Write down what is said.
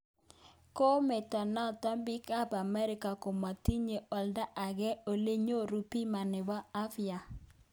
Kometo noto biik ab amerika komotiche olda age ole nyoru bima nebo abya